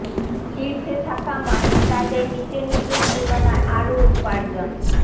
শীর্ষে থাকা মানুষ তাদের নীচের নীচের তুলনায় আরো উপার্জন